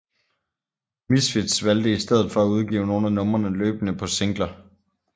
Misfits valgte i stedet for at udgive nogle af numrene løbende på singler